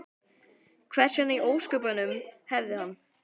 Hvers vegna í ósköpunum hefði hann?